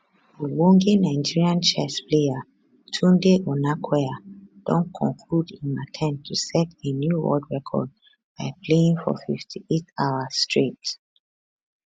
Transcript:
ogbonge nigerian chess player tunde onakoya don conclude im attempt to set a new world record by playing for 58 hours straight